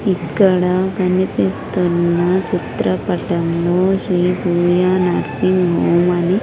ఇక్కడ కనిపిస్తున్న చిత్రపటం లో శ్రీ సూర్య నర్సింగ్ హోమ్ అని--